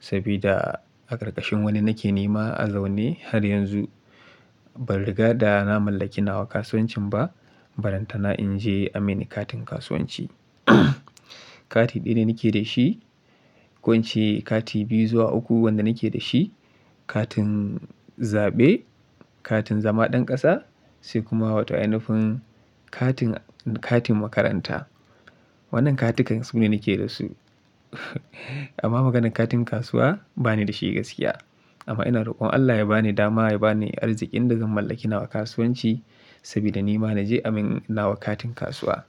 saboda a ƙarƙashin wani nake nema a zaune har yanzu. Ban riga da na mallaki nawa kasuwancin ba, ba lan tana in je a mini katin kasuwanci. Kati ɗaya nake da shi, ƙunci kati biyu zuwa uku wanda nake da shi, katin zaɓe, katin zama ɗan ƙasa, sai kuma wata yanayin katin, katin makaranta. Wannan katikan su ne nake da su. Amma maganar katin kasuwa bani da shi gaskiya. Amma ina rokon Allah ya bani dama ya bani arzikin da zan mallaki nawa kasuwanci, saboda ni ma na je a min nawa katin kasuwa.